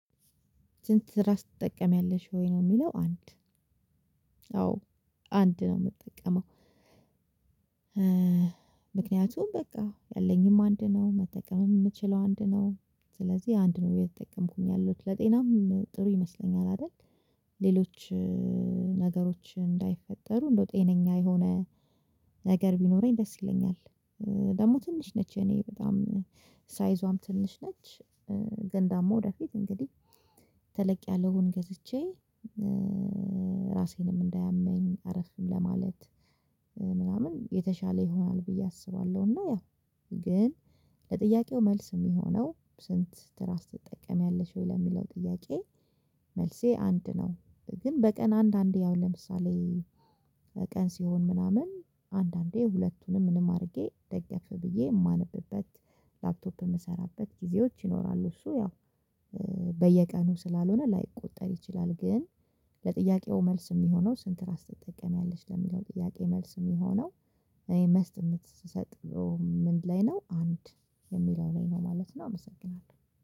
ስንት ትራስ ትጠቀሚያለሽ ወይ ነው የሚለው አንድ? አዎ አንድ ነው ምጠቀመው። ምክኛቱም ያለኝም አንድ ነው መጠቀምም ምችለው አንድ ነው። ስለዚህ አንድ ነው እየተጠቀምኩኝ ያለሁት ለጤናም ጥሩ ይመስለኛል አይደል። ሌሎች ነገሮች እንዳይፈጠሩ እንደው ጤነኛ የሆነ ነገር ቢኖረኝ ደስ ይለኛል። ደግሞ ትንሽ ነች የእኔ በጣም ሳይዟም ትንሽ ነች። ገን ደግሞ ወደፊት እንግዲህ ተለቅ ያለውን ገዝቼ። ራሴንም እንዳያመኝ አረፍም ለማለት ምናምን የተሻለ ይሆናል ብዬ አስባለሁ። እና ያው ግን ለጥያቄው መልስ የሚሆነው ስንት ትራስ ትጠቀሚያለሽ ወይ ለሚለው ጥያቄ መልሴ አንድ ነው። ግን በቀን አንድ አንዴ ያው ለምሳሌ ቀን ሲሆን ምናምን አንዳንዴ ሁለቱንም ምንም አድርጌ ደገፍ ብዬ እማነብበት ላፕቶፕ የምሰራበት ጊዜዎች ይኖራሉ። እሱ ያው በየቀኑ ስላልሆነ ላይቆጠር ይችላል። ግን ለጥያቄው መልስ የሚሆነው ስንት? ራስ ትጠቀሚያለሽ ለሚለው ጥያቄ መልስ የሚሆነው እኔ መስት የምትሰጥ ምን ላይ ነው አንድ የሚለው ላይ ነው ማለት ነው። አመሰግናለሁ